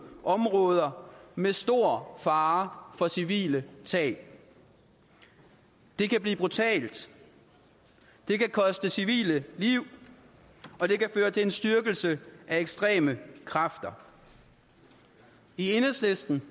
områder med stor fare for civile tab det kan blive brutalt det kan koste civile liv og det kan føre til en styrkelse af ekstreme kræfter i enhedslisten